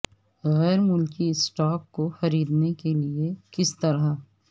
غیر ملکی اسٹاک کو خریدنے کے لئے کس طرح